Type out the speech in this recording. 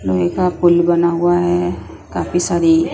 लोहे का पुल बना हुआ हैं काफी सारी --